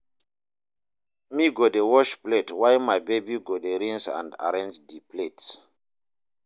me go dey wash plate while my baby go dey rinse and arrange di plates